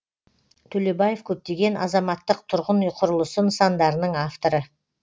төлебаев көптеген азаматтық тұрғын үй құрылысы нысандарының авторы